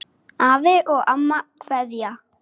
Og svo kemurðu að borða!